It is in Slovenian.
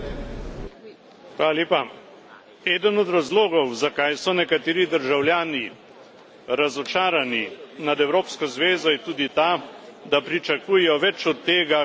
Eden od razlogov, zakaj so nekateri državljani razočarani nad Evropsko zvezo, je tudi ta, da pričakujejo več od tega, ker smo skupaj v Evropski zvezi.